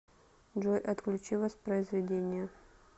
джой отключи воспроизведение